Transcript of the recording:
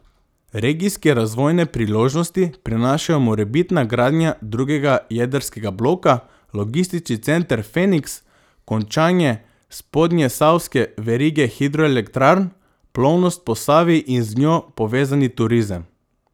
Regijske razvojne priložnosti prinašajo morebitna gradnja drugega jedrskega bloka, logistični center Feniks, končanje spodnjesavske verige hidroelektrarn, plovnost po Savi in z njo povezani turizem.